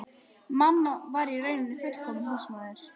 Mamma var í raun hin fullkomna húsmóðir.